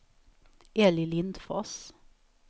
Elly Lindfors